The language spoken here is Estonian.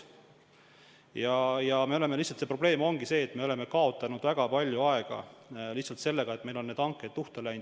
Lihtsalt probleem ongi see, et me oleme kaotanud väga palju aega seetõttu, et meil on need hanked luhta läinud.